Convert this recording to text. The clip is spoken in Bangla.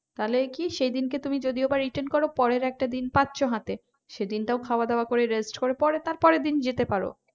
তাহলে কি সেদিনকে যদি তুমি যদিও বা return করো পরের একটা দিন পাচ্ছ হাতে সেদিনটাও খাওয়া-দাওয়া করে rest করে পরে তারপরের দিন যেতে পারো।